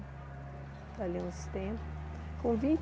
Valeu uns tempos. Com